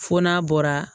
Fo n'a bɔra